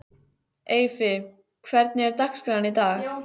Eyfi, hvernig er dagskráin í dag?